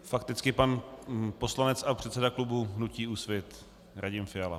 Fakticky pan poslanec a předseda klubu hnutí Úsvit, Radim Fiala.